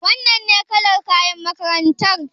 Wannan ne kalar kayan makarantar?